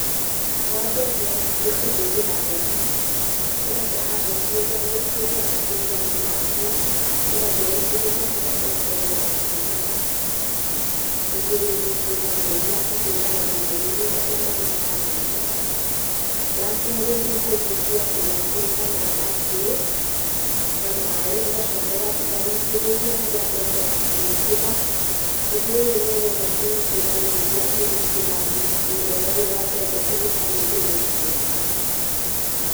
Wa mbere nĩ kũhũthĩra mũhũ, ũgataha mũhũ ũrĩa kũrĩ arĩa tũrugaga na ngũũ, ũgathĩe ũgaitĩrĩria harĩa mbembe ĩyo ĩrakũrĩra, ũndũ ũyũ nĩ ũteithagĩrĩria kũhũrana na magunyũ marĩa marĩaga mbembe. Wa kerĩ nĩ kũrigia kĩraikũ kana bakĩ na maaĩ ũgacoka ũgathĩe owĩtĩrĩrie harĩa mbembe ĩrakũnukĩra, ũndũ ũyũ nĩ ũge ũteithagĩrĩria kũgitĩra mũmera ũyũ wa mbembe kũrĩka nĩ ĩgunyũ na tũtabi.